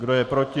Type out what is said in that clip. Kdo je proti?